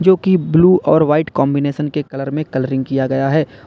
क्योंकि ब्लू और white combination के कलर में कलरिंग किया गया है।